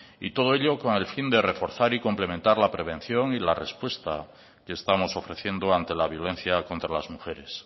y todo ello con el fin de reforzar y complementar la prevención y la respuesta que estamos ofreciendo ante la violencia contra las mujeres